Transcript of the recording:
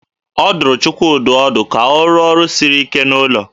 A dụrụ Chukwudị ọdụ ka ọ rụọ ọrụ siri ike n'ụlọ